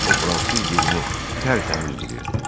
O fransız dilini tərtəmiz bilirdi.